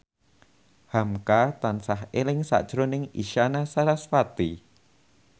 hamka tansah eling sakjroning Isyana Sarasvati